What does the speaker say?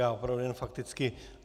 Já opravdu jen fakticky.